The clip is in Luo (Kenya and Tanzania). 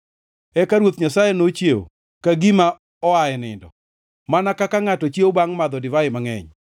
Eka Ruoth Nyasaye nochiew ka gima oa e nindo, mana kaka ngʼato chiewo, bangʼ madho divai mangʼeny.